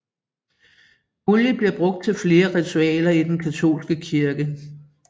Olie bliver brugt til flere ritualer i den katolske kirke